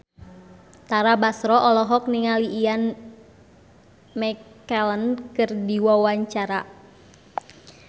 Tara Basro olohok ningali Ian McKellen keur diwawancara